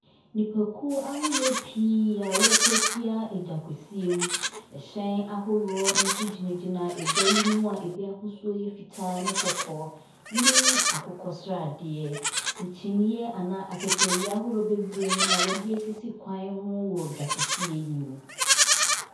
Nnipakuo ahorow pii a wɔatwa ahyia dwa kɛseɛ mu. Ɛhyɛn ahoroɔ nso gyinagyina dwa y imu a ebi ahosu yɛ fitaa ne kɔkɔɔ ne akokɔsradeɛ. Nkyiniiɛ anaa akatawia bebree na wɔde asisi kwan ho ɛwɔ dwa kɛseɛ yi mu.